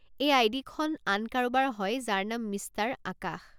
এই I D খন আন কাৰোবাৰ হয় যাৰ নাম মিষ্টাৰ আকাশ।